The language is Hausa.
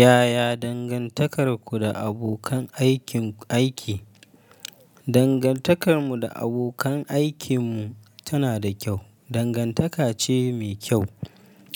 Yaya dangantakarku da abokan aikin aiki? Dangantakarmu da abokan aikinmu tana da kyau. Dangantaka ce mai kyau.